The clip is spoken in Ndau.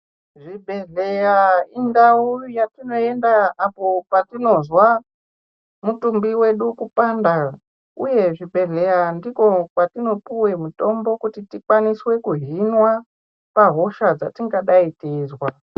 Zvibhehleya indau yatinoenda apo patinozwa mitumbi yedu kupanda uye kuzvibhehlera ndiko kwatinopiwa mitombo kuti tikwanise kuhinwa pahosha dzatingadai teizwa